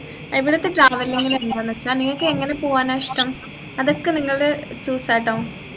ഇവിടെത്തെ traveling എന്താന്നു വെച്ചാൽ നിങ്ങക്ക് എങ്ങനെ പോകാന ഇഷ്ടം അതൊക്കെ നിങ്ങളെ choose ആട്ടോ